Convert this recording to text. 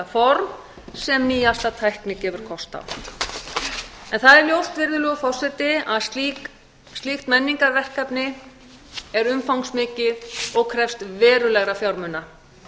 form sem nýjasta tækni gefur kost á það er ljóst að slíkt menningarverkefni er umfangsmikið og krefst verulegra fjármuna